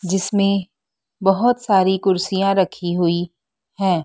जिसमें बहोत सारी कुर्सियां रखी हुई है।